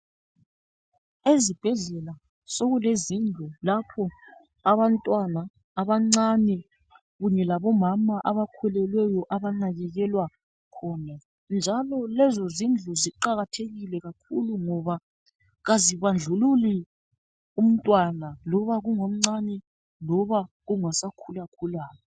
Ezibhedlela sokulezindlu lapho abantwana abancane kunye labomama abakhulelweyo abanakekelwa khona njalo lezo zindlu ziqakathekile kakhulu ngoba kazibandlululi umntwana loba kungomncane loba kungosakhulakhulayo.